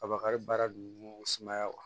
Kabakari baara don sumaya